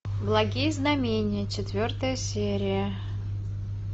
благие знамения четвертая серия